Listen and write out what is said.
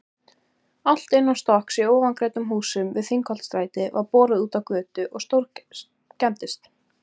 Allt innanstokks í ofangreindum húsum við Þingholtsstræti var borið útá götu og stórskemmdist.